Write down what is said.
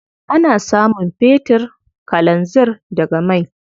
Ana samun fetir, kalanzir daga mai.